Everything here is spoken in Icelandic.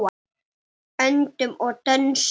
Öndum og dönsum.